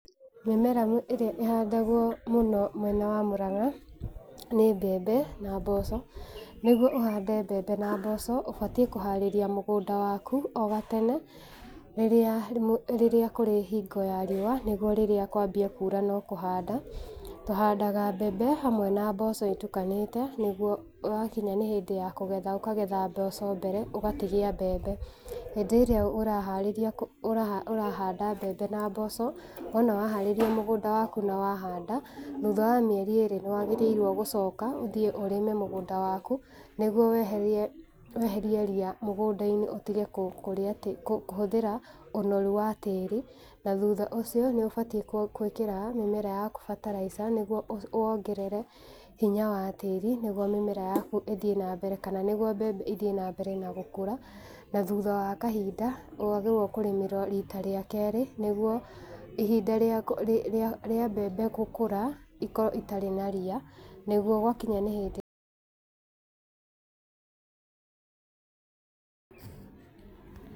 Mĩmera ĩrĩa ĩhandagwo mũno mwena wa Mũrang'a, nĩ mbembe na mboco. Nĩguo ũhande mbembe na mboco, ũbatie kũharĩria mũgũnda waku oga tene, rĩrĩa, rĩrĩa kũrĩ hingo ya riũa, niguo rĩrĩa kwambia kura no kũhanda,, tũhandaga mbembe hamwe na mboco itukanĩte, nĩguo wakinya nĩ hĩndĩ ya kũgetha, ũkagetha mboco mbere, ũgatigia mbembe. Hĩndĩ ĩrĩa ũraharĩria kũhanda, ũrahanda mbembe na mboco, wona waharĩria mũgũnda waku na wahanda, thutha wa mĩeri ĩrĩ nĩwagĩrĩirwo gũcoka ũthiĩ ũrĩme mũgũnda waku nĩguo weherie, weherie ria mũgũnda-inĩ ũtige kũrĩa tĩri, kũhũthĩra ũnoru wa tĩri, na thutha ũcio nĩ ũbatie gwĩkĩra mĩmera yaku bataraitha nĩguo wongerere, hinya wa tĩri, nĩguo mĩmera yaku ĩthie na mbere, kana nĩguo mbembe ĩthiĩ na mbere na gũkũra na thutha wa kahinda nĩwagĩrĩirwo kũrĩmĩra rita rĩa kerĩ nĩguo, ihinda rĩa mbembe gũkũra ikorwo itarĩ na ria nĩguo gwa kinya nĩ hĩndĩ...